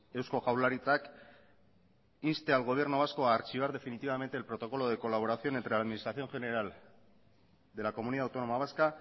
eusko jaurlaritzak inste al gobierno vasco a archivar definitivamente el protocolo de colaboración entre la administración general de la comunidad autónoma vasca